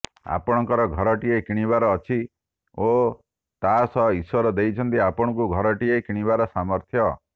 ଆପଣଙ୍କର ଘରଟିଏ କିଣିବାର ଅଛି ଓ ତା ସହ ଈଶ୍ୱର ଦେଇଛନ୍ତି ଆପଣଙ୍କୁ ଘରଟିଏ କିଣିବାର ସାମର୍ଥ୍ୟ